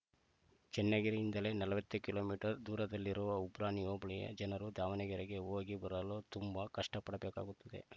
ಚನ್ನಗಿರಿಯಿಂದಲೇ ನಲವತ್ತು kilometre ದೂರವಿರುವ ಉಬ್ರಾಣಿ ಹೋಬಳಿಯ ಜನರು ದಾವಣಗೆರೆಗೆ ಹೋಗಿ ಬರಲು ತುಂಬಾ ಕಷ್ಟಪಡಬೇಕಾಗುತ್ತೆ